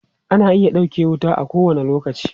Ana iya ɗauke wuta a kowane lokaci.